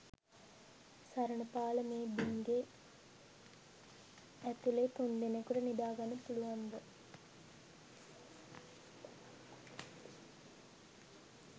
සරණපාල මේ බිංගේ ඇතුලෙ තුන්දෙනෙකුට නිදා ගන්න පුළුවන්ද?